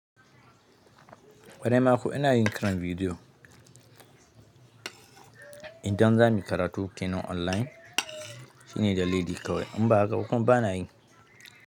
Ƙwarai makuwa ina yin ƙarin bidiyo idan za mu yi karatu kenan online shine da dalili kawai. In ba hakaba kuma bana yi.